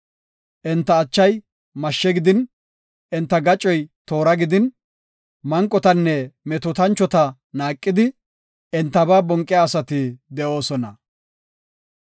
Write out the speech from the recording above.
Enta achay mashshe gidin, enta gaccoy toora gidin, manqotanne metootanchota naaqidi, entaba bonqiya asati de7oosona.